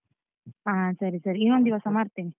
ಹ ಸರಿ ಸರಿ, ಇನ್ನೊಂದ್ ದಿವಸ ಮಾಡ್ತೇನೆ.